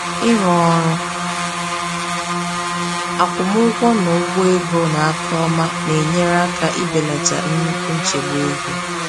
Ịrụ ọrụ akwụmụgwọ na ụgwọ ego n’aka ọma na-enyere aka ibelata nnukwu nchegbu ego.